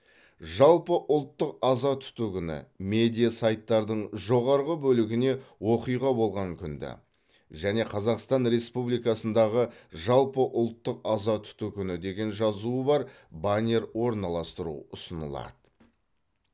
жалпыұлттық аза тұту күні медиа сайттардың жоғарғы бөлігіне оқиға болған күнді және қазақстан республикасындағы жалпыұлттық аза тұту күні деген жазуы бар баннер орналастыру ұсынылады